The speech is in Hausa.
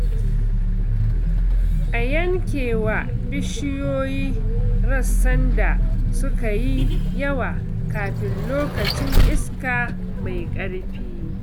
A yankewa bishiyoyi rassan da suka yi yawa kafin lokacin iska mai ƙarfi.